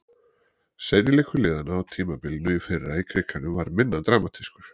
Seinni leikur liðanna á tímabilinu í fyrra í Krikanum var minna dramatískur.